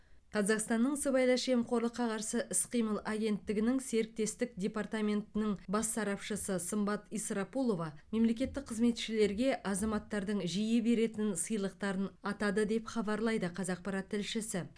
қазақстанның сыбайлас жемқорлыққа қарсы іс қимыл агенттігінің серіктестік департаментінің бас сарапшысы сымбат исрапулова мемлекеттік қызметшілерге азаматтардың жиі беретін сыйлықтарын атады деп хабарлайды қазақпарат тілшісі